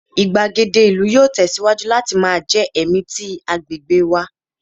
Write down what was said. igbagede ilu yoo tẹsiwaju lati jẹ ẹmi ti agbegbe agbegbe wa